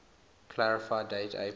clarify date april